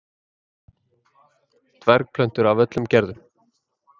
dvergplöntur af öllum gerðum